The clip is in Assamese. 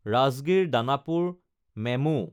ৰাজগিৰ–দানাপুৰ মেমো